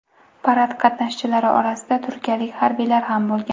Parad qatnashchilari orasida turkiyalik harbiylar ham bo‘lgan.